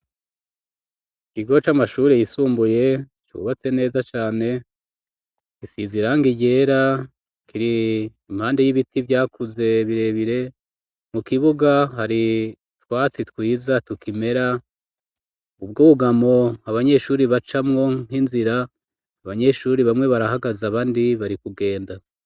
Ikigo c'amashuri yisumbuye cubatse neza cane isize irangi ryera kiri impande y'ibiti vyakuze birebire mu kibuga hari twatsi twiza tukimera ubwo ubwugamo abanyeshuri bacamwo nk'inzira abanyeshuri bamwe barahagaze abandi bari kugenda.